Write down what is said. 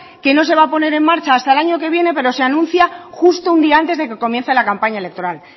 que no se va a poner en marcha hasta el año que viene pero se anuncia justo un día antes de que comienza la campaña electoral